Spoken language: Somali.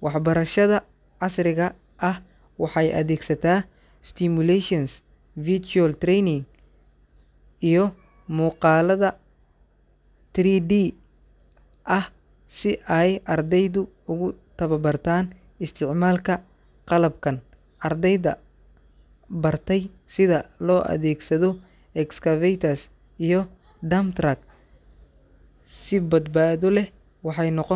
Waxbarashada casriga ah waxay adeegsataa simulations, virtual training, iyo muuqaalada 3D ah si ay ardaydu ugu tababartaan isticmaalka qalabkan. Ardayda bartay sida loo adeegsado excavator iyo dump truck si badbaado leh waxay noqon.